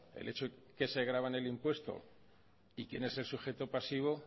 el hecho que se grava en el impuesto y quién es el sujeto pasivo